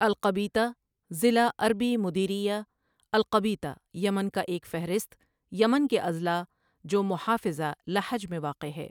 القبیطہ ضلع عربی مديرية القبيطة یمن کا ایک فہرست یمن کے اضلاع جو محافظہ لحج میں واقع ہے ۔